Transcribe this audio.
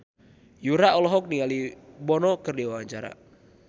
Yura olohok ningali Bono keur diwawancara